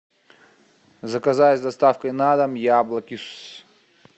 заказать с доставкой на дом яблоки